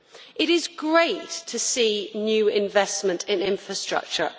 It is great to see new investment in infrastructure.